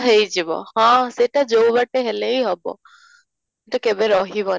ହେଇଯିବ ହଁ ସେଇଟା ଯଉ ବାଟେ ହେଲେ ହିଁ ହେବ, ତ କେବେ ରହିବନି